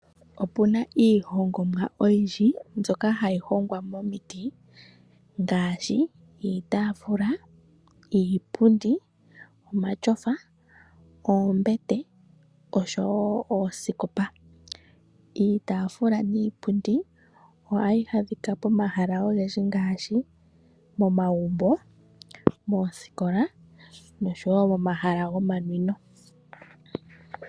Opu na iihongomwa oyindji mbyoka hayi hongwa momiti ngaashi iitaafula, iipundi, omatyofa, oombete oshowo oosikopa. Iitaafula niipundi ohayi adhika pomahala ogendji ngaashi momagumbo, moosikola noshowo momahala gomanwino.